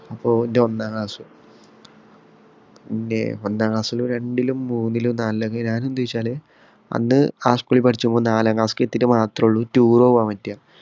അപ്പൊ എന്റെ ഒന്നാം ക്ലാസ് പിന്നെ ഒന്നാം ക്ലാസ്സിലും രണ്ടിലും മൂന്നിലും നാലിലും ഞാൻ എന്ത് ചെയ്യും എന്ന് വച്ചാല് അന്ന് പഠിച്ചപ്പോള് ഈ നാലാം class ഇൽ മാത്രേ ഉള്ളൂ ഈ tour പോകാന്‍ പറ്റുക.